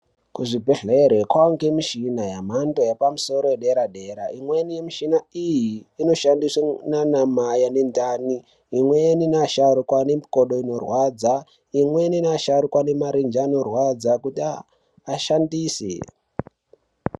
Kuzvibhehlera kwane michina yemhando yepamusoro yederadera. Imweni yemishina iyi inoshandiswe nana mai anendani imweni nevasharukwa vane makodo anorwadza, imweni neasharukwa vane marenje anorwadza kuti ashandise.